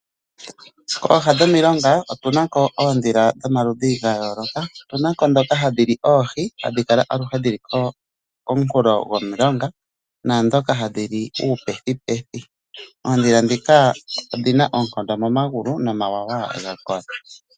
Pooha dhomilonga otuna ko oondhila dhomaludhi gayoolokathana . Otuna ko ndhoka hadhi li oohi, hadhi kala aluhe dhili komukulo gomulonga naandhoka hadhi li uupethipethi. Oondhila ndhoka odhina oonkondo momagulu, nomawawa oga kola.